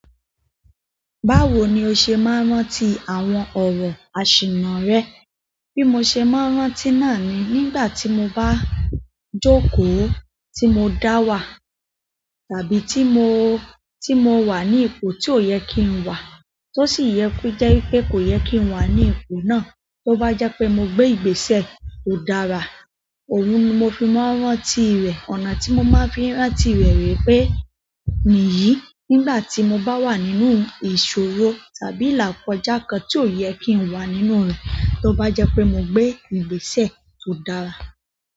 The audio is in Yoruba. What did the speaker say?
Báwo ni o ṣe máa ń rántí àwọn ọ̀rọ̀ aṣìnà rẹ? Bí mo ṣe máa ń rántí náà ni, nígbà tí mo bá jókòó, tí mo dá wà, tàbí tí mo, tí mo wà ní ipò tí ò yẹ kí n wà, tó sì yẹ ko jẹ́ wípé kò yẹ kí n wà ní ipò náà, tó bá je pẹ́ mo gbé ìgbésẹ̀ tò dára, òun ni mo fi máa ń rántí rẹ̀. Ọ̀nà tí mo máa fi n rántí rẹ̀ ree pẹ́ nìyí, nígbà tí mo bá wà nínú ìṣòro tàbí ilàkọ̀já kan tí ò yẹ kí n wà nínú rẹ̀, tó bá je pẹ́ mo gbé ìgbésẹ̀ tó dára.